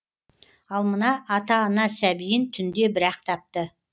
ал мына ата ана сәбиін түнде бірақ тапты